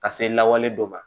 Ka se lawale dɔ ma